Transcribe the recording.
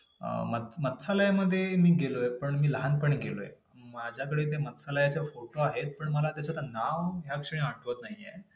second त्रिगुणात्मक प्रकृती जड आहे. सृष्टीतील विविध वस्तूंचे व घडामोडींचे एकमेव अधिकारन आहे. तिसरापुरुषचेतन निर्गुण व निष्क्रिय निर्विकार असून अनेक आहेत.